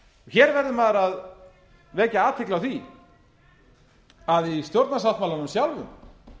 hér verður maður að vekja athygli á því að í stjórnarsáttmálanum sjálfum